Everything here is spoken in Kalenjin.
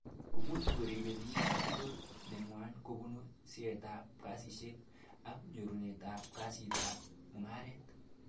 Kumuch koribe bik capital nengway kobun seretab kasishek ak nyorunetab kasitab mukaret